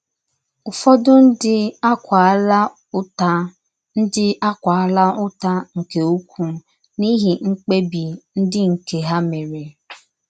Ụfọdụ ndị akwaala ụta ndị akwaala ụta nke ukwuu n’ihi mkpebi ndị nke ha mere.